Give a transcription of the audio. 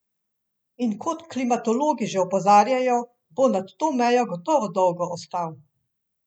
In kot klimatologi že opozarjajo, bo nad to mejo gotovo dolgo ostal.